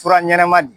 Fura ɲɛnɛma di